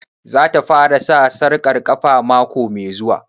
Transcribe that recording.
Za ta fara sa sarƙar ƙafa mako mai zuwa?